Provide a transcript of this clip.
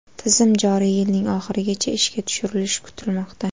Tizim joriy yilning oxirigacha ishga tushirilishi kutilmoqda.